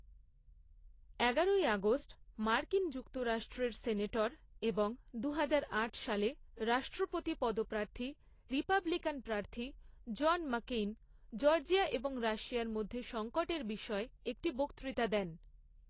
এগারোই আগস্ট মার্কিন যুক্তরাষ্ট্রের সেনেটর এবং দুহাজার আট সালে রাষ্ট্রপতি পদপ্রার্থী রিপাবলিকান প্রার্থী জন ম্যাককেইন জর্জিয়া এবং রাশিয়ার মধ্যে সংকটের বিষয়ে একটি বক্তৃতা দেন।